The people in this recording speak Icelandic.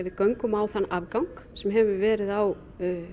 við göngum á þann afgang sem hefur verið á